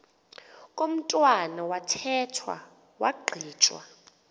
komntwana wathethwa wagqitywa